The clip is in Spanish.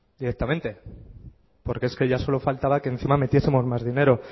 directamente porque es que ya solo faltaba que encima metiesemos mas dinero